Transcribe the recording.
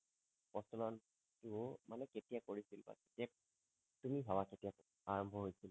প্ৰচলনটো মানে কেতিয়া কৰিছিল তুমি ভাবা কেতিয়া আৰাম্ভ হৈছিল